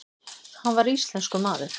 Hann var íslenskur maður.